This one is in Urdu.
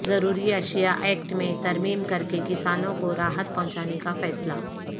ضروری اشیا ایکٹ میں ترمیم کرکے کسانوں کو راحت پہنچانے کا فیصلہ